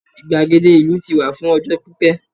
igbagede ìlú ti wà fún ọjọ pipẹ